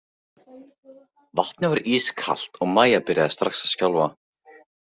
Vatnið var ískalt og Maja byrjaði strax að skjálfa.